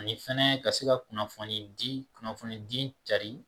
Ani fɛnɛ ka se ka kunnafoni di kunnafoni di cari